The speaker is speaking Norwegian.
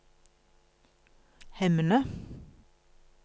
Hemne